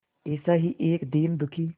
ऐसा ही एक दीन दुखी